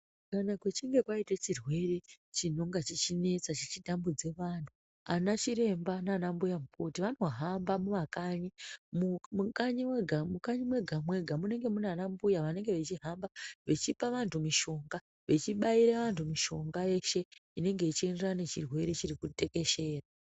Kana kuchinge kwaita chirwere chinenge chichinetsa chichitambudza antu ana chiremba nana chiremba arikuhamba anga mumakanyi mukanyi mwega mwega munenge mune ana mbuya anenge echihamba achipa vantu mishonga achibaira antu mishonga yeshe inenge ichienderana chirwere chiri kutekeshera.